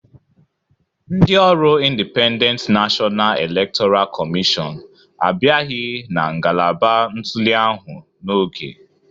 Ndị ọrụIndipendent Nashọna Elektọra Kọmịshọn abịaghị na ngalaba ntuli ahụ n'oge